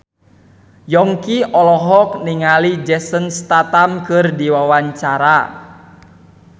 Yongki olohok ningali Jason Statham keur diwawancara